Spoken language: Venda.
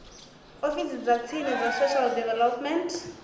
ofisini dza tsini dza social development